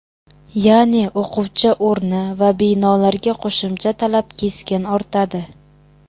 Ya’ni o‘quvchi o‘rni va binolarga qo‘shimcha talab keskin ortadi.